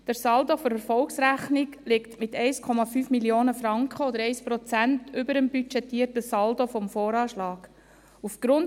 Der Saldo der Erfolgsrechnung liegt mit 1,5 Mio. Franken oder 1 Prozent über dem budgetierten Saldo des Voranschlags (VA).